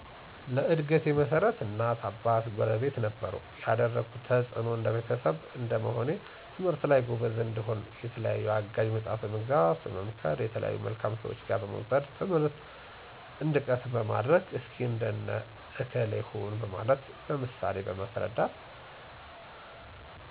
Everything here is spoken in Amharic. ለእድገቴ መሠረት እናት አባት ጉረቤት ነበሩ የደረጉት ተፅእኖ እንደ ቤተሰብ እንደመሆኔ ትምህርት ላይ ጎበዝ እንድሆነ የተለያዩ አጋዥ መፅሐፍ በመግዛት፣ በመምከር፣ የተለያዩ መልካም ሰዎች ጋ በመውሰድ ትምህርት እንድቀስም በማድረግ፣ እስኪ እንደነ ከሌ ሁን በማለት በምሳሌ በማስረዳት፣